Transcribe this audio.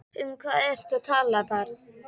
Um hvað ertu að tala barn?